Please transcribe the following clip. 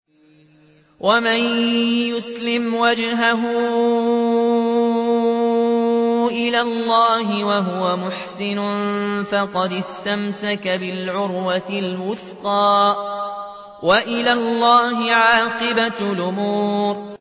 ۞ وَمَن يُسْلِمْ وَجْهَهُ إِلَى اللَّهِ وَهُوَ مُحْسِنٌ فَقَدِ اسْتَمْسَكَ بِالْعُرْوَةِ الْوُثْقَىٰ ۗ وَإِلَى اللَّهِ عَاقِبَةُ الْأُمُورِ